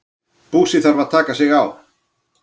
Búsi þarf að taka sig á.